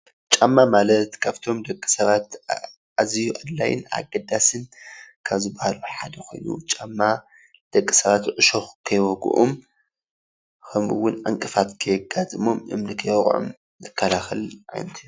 ጫማ ማለት ካብቶም ደቂ ሰባት ኣዝዩ ኣድላይ ኣገዳስን ካብ ዝበሃሉ ሓደ ኮይኑ፤ ጫማ ደቂ ሰባት እሾክ ከይወግኦም ከምኡ እውን ዕንቅፋት ከይጋጥሞም፣ እምኒ ከይወቅዖም ዝከላከል ዓይነት እዩ።